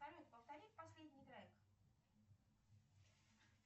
салют повторить последний трек